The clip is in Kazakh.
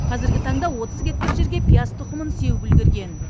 қазіргі таңда отыз гектар жерге пияз тұқымын сеуіп үлгерген